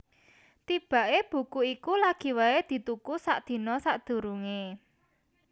Tibaké buku iku lagi waé dituku sadina sadurungé